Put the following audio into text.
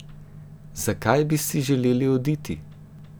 Zakaj bi si želeli oditi?